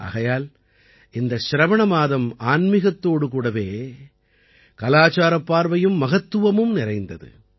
ஆகையால் இந்த சிரவண மாதம் ஆன்மீகத்தோடு கூடவே கலாச்சாரப் பார்வையும் மகத்துவமும் நிறைந்தது